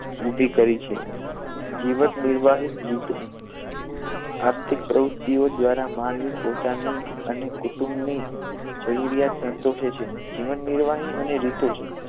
ઊભી કરી છે જીવનનિર્વાહ રીતો આર્થિક પ્રવૃત્તિઓ દ્વારા માનવી પોતાની અને કુટુંબની જરૂરિયાતો સંતોષે છે જીવનનિર્વાહ અને રીતો છે